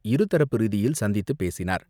இருதரப்பு ரீதியில் சந்தித்து பேசினார்.